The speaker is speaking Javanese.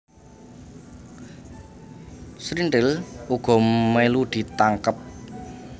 Srintil uga mélu ditangkep